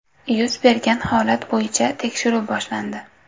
Yuz bergan holat bo‘yicha tekshiruv boshlandi.